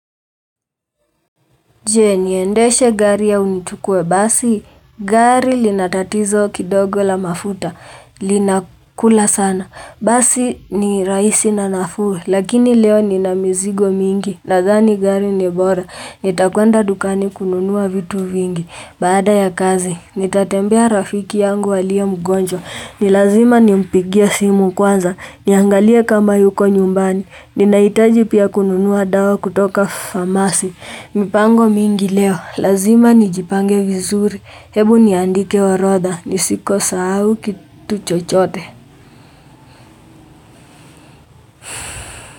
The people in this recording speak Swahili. Je niendeshe gari au nichukue basi gari linatatizo kidogo la mafuta linakula sana basi ni rahisi na nafuu lakini leo nina mizigo mingi nathani gari ni bora nitakwenda dukani kununua vitu vingi. Baada ya kazi, nitatembea rafiki yangu aliye mgonjwa, nilazima nimpigie simu kwanza, niangalie kama yuko nyumbani, ninahitaji pia kununua dawa kutoka pharmacy mipango mingi leo, lazima nijipange vizuri, hebu niandike orodha, nisisahau kitu chochote.